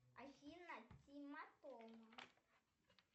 афина тима тома